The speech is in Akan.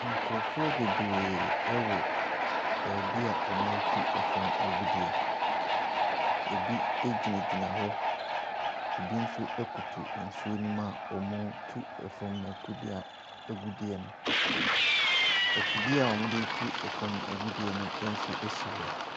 Nkurɔfoɔ bebree wɔ beebi a wɔretu fam agudeɛ, ɛbi gyinagyina hɔ, bi nso koto nsuo ne mu a wɔretu fam agudeɛ a agudeɛ no. Afidie wɔde tu fam agudeɛ nso si hɔ.